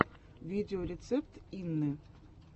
видеорецепт инны